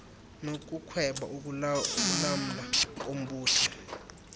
nokukhweba ukulamla kombutho